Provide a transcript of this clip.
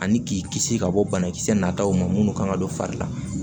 Ani k'i kisi ka bɔ banakisɛ nataw ma minnu kan ka don fari la